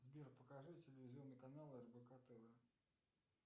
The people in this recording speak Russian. сбер покажи телевизионный канал рбк тв